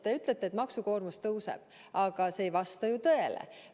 Te ütlete, et maksukoormus tõuseb, aga see ei vasta ju tõele.